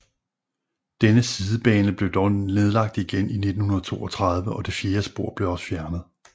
Denne sidebane blev dog nedlagt igen i 1932 og det fjerde spor blev også fjernet